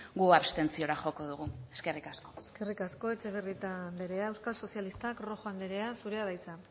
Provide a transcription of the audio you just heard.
guk abstentziora joko dugu eskerrik asko eskerrik asko etxebarrieta anderea euskal sozialistak rojo anderea zurea da hitza